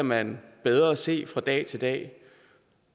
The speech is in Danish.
man bedre se fra dag til dag